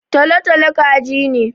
Tolo-tolo kaji ne.